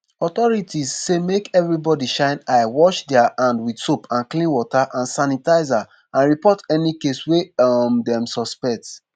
authorities say make everybodi shine eye wash dia hand wit soap and clean water or sanitiser and report any case wey um dem suspect